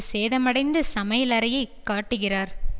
சேதமடைந்த சமையலறையை காட்டுகிறார்